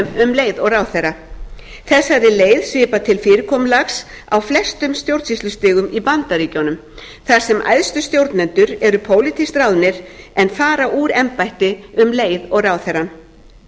störfum um leið og ráðherra þessari leið svipar til fyrirkomulags á flestum stjórnsýslustigum í bandaríkjunum þar sem æðstu stjórnendur eru pólitískt ráðnir en fara úr embætti um leið og ráðherra